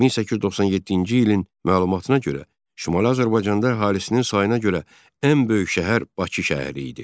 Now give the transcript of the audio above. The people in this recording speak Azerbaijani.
1897-ci ilin məlumatına görə, Şimali Azərbaycanda əhalisinin sayına görə ən böyük şəhər Bakı şəhəri idi.